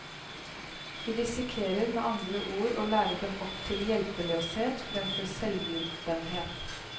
Vi risikerer med andre ord å lære dem opp til hjelpeløshet fremfor selvhjulpenhet.